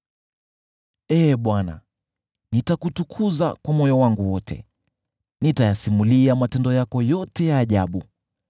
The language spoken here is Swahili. Ee Bwana , nitakutukuza kwa moyo wangu wote, nitayasimulia matendo yako yote ya ajabu.